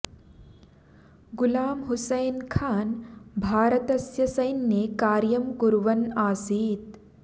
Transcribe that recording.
गुलाम हुसैन खान भारतस्य सैन्ये कार्यं कुर्वन् आसीत्